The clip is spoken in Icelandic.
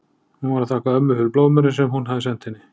Hún var að þakka ömmu fyrir blóðmörinn sem hún hafði sent henni.